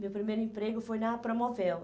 Meu primeiro emprego foi na Promovéu.